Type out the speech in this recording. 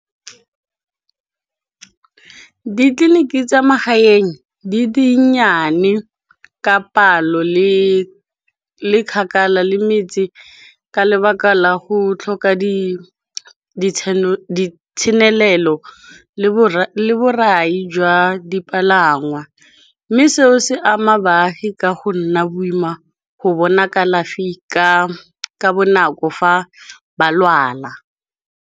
Ditleliniki tsa magaeng di dinnyane ka palo, le kgakala le metse, ka lebaka la go tlhoka ditshenelelo le borai jwa dipalangwa. Mme seo se ama baagi ka go nna boima go bona kalafi ka bonako fa ba lwala.